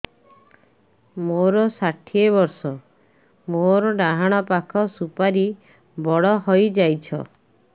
ମୋର ଷାଠିଏ ବର୍ଷ ମୋର ଡାହାଣ ପାଖ ସୁପାରୀ ବଡ ହୈ ଯାଇଛ